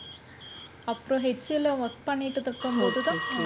அப்புறம் ஹெச் சி எல்ல work பண்ணிட்டு இருக்கும் போதுதான்